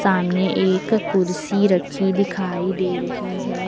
सामने एक कुर्सी रखी दिखाई दे रही है।